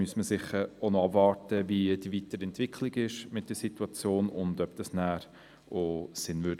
Man müsste jedoch sicherlich die weiteren Entwicklungen der Situation abwarten und schauen, inwiefern dies schliesslich sinnvoll wäre.